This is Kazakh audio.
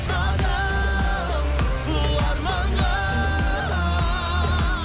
адам ұлы арманға